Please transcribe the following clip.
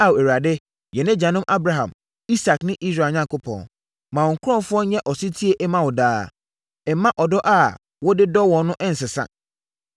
Ao, Awurade, yɛn agyanom Abraham, Isak ne Israel Onyankopɔn, ma wo nkurɔfoɔ nyɛ ɔsetie mma wo daa. Mma ɔdɔ a wɔde dɔ wo no nsesa.